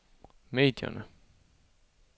medierne